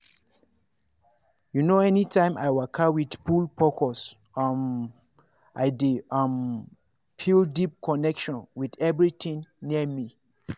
you know anytime i waka with full focus um i dey um feel deep connection with everything near me.